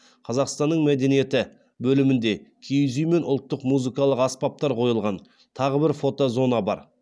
қазақстанның мәдениеті бөлімінде киіз үй мен ұлттық музыкалық аспаптар қойылған тағы бір фото зона бар